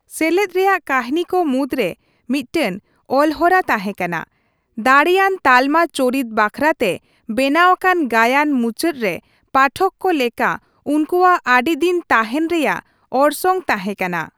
ᱥᱮᱞᱮᱫ ᱨᱮᱭᱟᱜ ᱠᱟᱹᱦᱤᱱᱤ ᱠᱚ ᱢᱩᱫᱽᱨᱮ ᱢᱤᱫᱴᱟᱝ ᱚᱞᱦᱚᱨᱟ ᱛᱟᱸᱦᱮ ᱠᱟᱱᱟ, ᱫᱟᱲᱮᱭᱟᱱ ᱛᱟᱞᱢᱟ ᱪᱚᱨᱤᱛ ᱵᱟᱠᱷᱨᱟ ᱛᱮ ᱵᱮᱱᱟᱣ ᱟᱠᱟᱱ ᱜᱟᱭᱟᱱ ᱢᱩᱪᱟᱹᱫ ᱨᱮ ᱯᱟᱴᱷᱚᱠ ᱠᱚ ᱞᱮᱠᱟ ᱩᱱᱠᱩᱣᱟᱜ ᱟᱹᱰᱤ ᱫᱤᱱ ᱛᱟᱦᱮᱱ ᱨᱮᱭᱟᱜ ᱚᱨᱥᱚᱝ ᱛᱟᱸᱦᱮᱠᱟᱱᱟ ᱾